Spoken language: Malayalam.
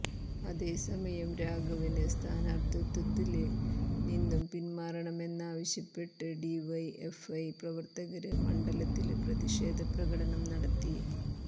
അതേസമയം രാഘവന് സ്ഥാനാര്ത്ഥിത്വത്തില് നിന്നും പിന്മാറണമെന്നാവശ്യപ്പെട്ട് ഡിവൈഎഫ്ഐ പ്രവര്ത്തകര് മണ്ഡലത്തില് പ്രതിഷേധ പ്രകടനം നടത്തി